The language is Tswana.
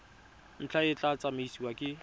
ntlha e tla tsamaisiwa ke